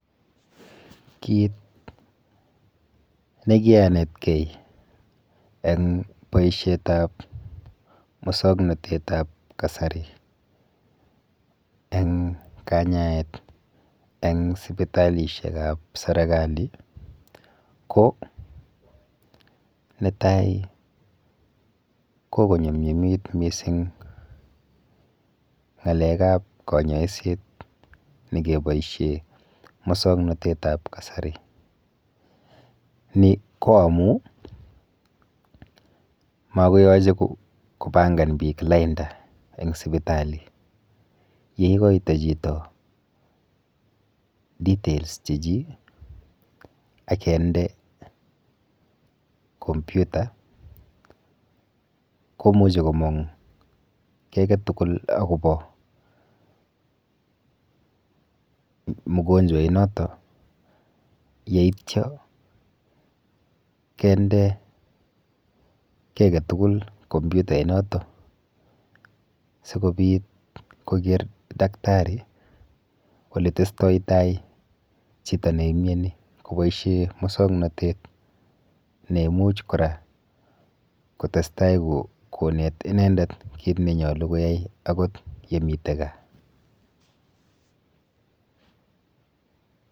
Kit nekianetkei eng boishetap musoknotetap kasari eng kanyaet eng sipitalishekap serikali ko netai kokonyumnyumit mising ng'alekap kanyoiset nekeboishe musoknotetap kasari. Ni ko amu makoyoche kopangan biik lainda eng sipitali. Yeikoito chito details chechi akende computer komuchi komong kiy aketugul akopo mugonjwainoto yeityo kende kiy aketugul compyutainoto sikobit koker daktari oletestotai chito neimieni koboishe mosoknotet neimuch kora kotestai konet inendet kit nenyolu akot yemite gaa.